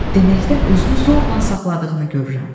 Deməkdən özünü zorla saxladığını görürəm.